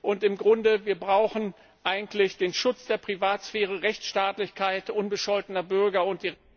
Und im Grunde brauchen wir eigentlich den Schutz der Privatsphäre, Rechtsstaatlichkeit unbescholtener Bürger und die